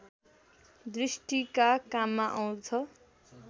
दृष्टिका काममा आँउछ